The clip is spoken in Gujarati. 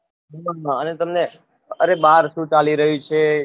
અને તમે અરે બાર શું ચાલી રહ્યું છે